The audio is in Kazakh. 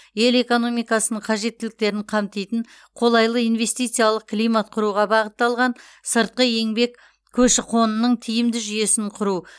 ел экономикасының қажеттіліктерін қамтитын қолайлы инвестициялық климат құруға бағытталған сыртқы еңбек көші қонының тиімді жүйесін құру